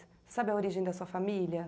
Sabe a origem da sua família?